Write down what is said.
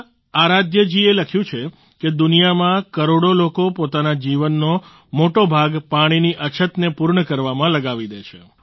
ના આરાધ્યા જી એ લખ્યું છે કે દુનિયામાં કરોડો લોકો પોતાના જીવનનો મોટો ભાગ પાણીની અછતને પૂર્ણ કરવામાં લગાવી દે છે